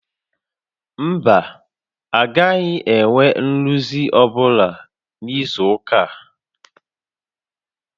Mba, a gaghị enwe nrụzi ọ́bụla n'izu ụka a